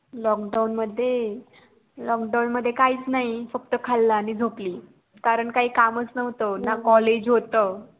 lokdown मध्ये lokdown मध्ये काही च नाही फक्त खाल आणि झोपली कारण काही काम च नव्हतं ना college होत.